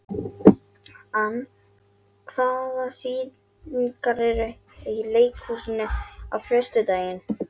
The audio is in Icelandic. Ann, hvaða sýningar eru í leikhúsinu á föstudaginn?